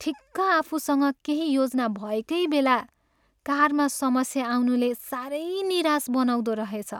ठिक्क आफूसँग केही योजना भएकै बेला कारमा समस्या आउनुले साह्रै निराश बनाउँदो रहेछ।